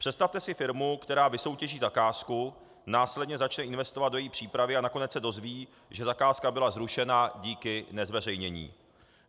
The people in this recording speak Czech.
Představte si firmu, která vysoutěží zakázku, následně začne investovat do její přípravy a nakonec se dozví, že zakázka byla zrušena díky nezveřejnění.